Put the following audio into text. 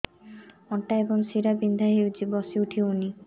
ଅଣ୍ଟା ଏବଂ ଶୀରା ବିନ୍ଧା ହେଉଛି ବସି ଉଠି ହଉନି